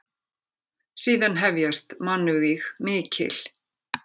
Síðan hefjast mannvíg mikil.